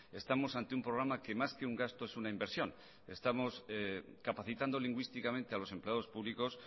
estamos ante un programa que más que un gasto es una inversión estamos capacitando lingüísticamente a los empleados públicos